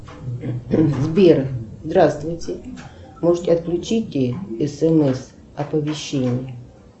сбер здравствуйте можете отключить смс оповещение